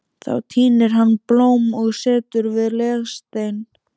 Þá tínir hann blóm og setur við legsteininn.